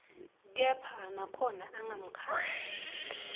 kepha nakhona angamkhandzi